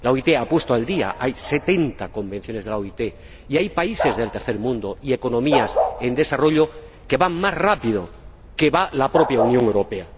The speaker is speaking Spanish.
La OIT se ha puesto al día y hay setenta convenios de la OIT, y hay países del tercer mundo y economías en desarrollo que van más rápido que la propia Unión Europea.